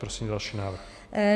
Prosím další návrh.